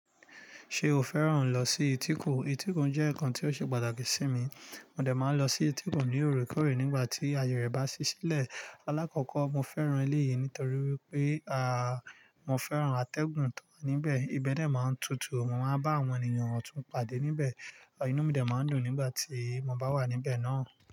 Ṣe o fẹ́ràn lọ sí etíkun? Etíkun jẹ́ nǹkan tí ó ṣe pàtàkì sí mi. Mo dẹ̀ máa lọ sí etíkun ní òrùkọ̀rò nígbà tí aye rẹ̀ bá ṣí sílẹ̀. Alákọ̀kọ́, mo fẹ́ràn ilé yìí nítorí wípé à, mo fẹ́ràn àtẹ̀gùn tó wà níbẹ̀. Ibẹ̀ dẹ̀ máa ń tutù. Mo máa ń bá àwọn ènìyàn ọ̀tún pàdé níbẹ̀. Inú mi dẹ̀ máa ń dùn nígbà tí mo bá wà níbẹ̀ náà.